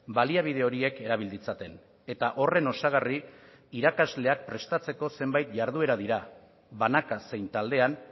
baliabide horiek erabil ditzaten eta horren osagarri irakasleak prestatzeko zenbait jarduera dira banaka zein taldean